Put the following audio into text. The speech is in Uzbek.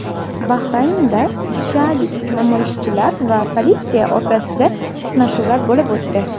Bahraynda shialik namoyishchilar va politsiya o‘rtasida to‘qnashuvlar bo‘lib o‘tdi.